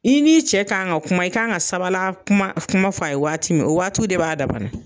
I n'i cɛ ka' kan ka kuma i kan ka sabala kuma kuma f' a ye waati min o waatiw de b'a dama na.